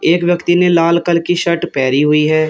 एक व्यक्ति ने लाल कल की शर्ट पहरी हुई है।